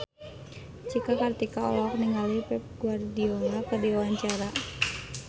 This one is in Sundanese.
Cika Kartika olohok ningali Pep Guardiola keur diwawancara